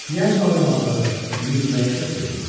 Piyajla oynamağı, yüürməyi çox sevirdi.